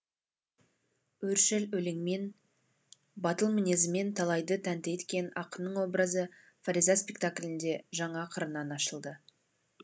өршіл өлеңмен батыл мінезімен талайды тәнті еткен ақынның образы фариза спектаклінде жаңа қырынан ашылды